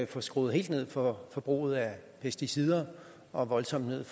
få skruet helt ned for forbruget af pesticider og voldsomt ned